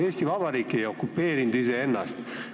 Eesti Vabariik ei okupeerinud iseennast.